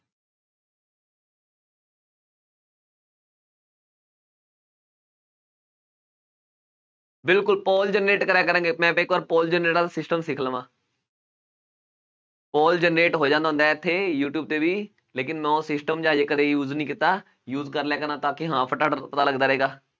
ਬਿਲਕੁਲ ਕਰਿਆ ਕਰਾਂਗੇ ਮੈਂ ਇੱਕ ਵਾਰ system ਸਿੱਖ ਲਵਾਂ ਹੋ ਜਾਂਦਾ ਹੁੰਦਾ ਹੈ ਇੱਥੇ ਯੂਟਿਊਬ ਤੇ ਵੀ ਲੇਕਿੰਨ ਮੈਂ ਉਹ system ਜਿਹਾ ਹਜੇ ਕਦੇ use ਨੀ ਕੀਤਾ use ਕਰ ਲਿਆ ਕਰਾਂ ਤਾਂ ਕਿ ਹਾਂ ਫਟਾਫਟ ਪਤਾ ਲੱਗਦਾ ਰਹੇਗਾ,